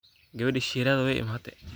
Gawadhi Shirati wai iimate.